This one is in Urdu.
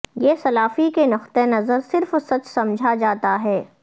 یہ سلافی کے نقطہ نظر صرف سچ سمجھا جاتا ہے